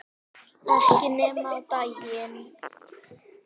Ekki nema á daginn